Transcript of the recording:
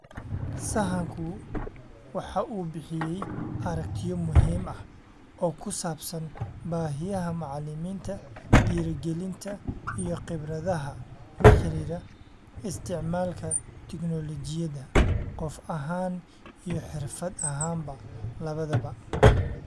Sahanku waxa uu bixiyay aragtiyo muhiim ah oo ku saabsan baahiyaha macalimiinta, dhiirigelinta, iyo khibradaha la xidhiidha isticmaalka tignoolajiyada-qof ahaan iyo xirfad ahaanba labadaba.